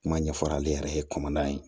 Kuma ɲɛfɔ ale yɛrɛ ye kɔmana ye